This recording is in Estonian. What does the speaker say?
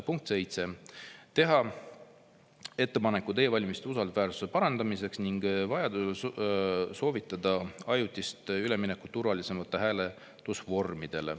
Punkt 7, teha ettepanekud e-valimiste usaldusväärsuse parandamiseks ning vajadusel soovitada ajutist üleminekut turvalisematele hääletusvormidele.